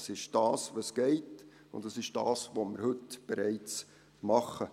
Es ist das, was geht, und es ist das, was wir heute bereits machen.